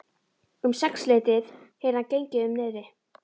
Um sexleytið heyrði hann gengið um niðri.